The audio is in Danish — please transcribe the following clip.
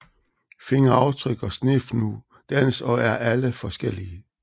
Fingeraftryk og Snefnug dannes og er alle forskellige